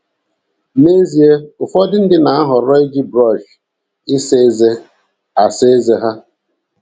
N’ezie, ụfọdụ ndị na - ahọrọ iji brọsh ịsa ezé asa ezé ha.